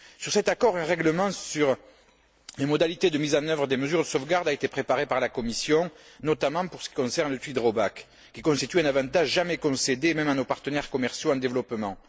Sur cet accord, un règlement sur les modalités de mise en œuvre des mesures de sauvegarde a été préparé par la Commission, notamment en ce qui concerne le duty drawback qui constitue un avantage jamais concédé, même à nos partenaires commerciaux en développement.